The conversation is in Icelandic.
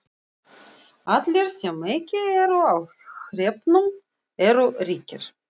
Allir sem ekki eru á hreppnum eru ríkir.